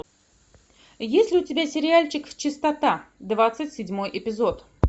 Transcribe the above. есть ли у тебя сериальчик чистота двадцать седьмой эпизод